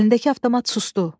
Əlindəki avtomat sustu.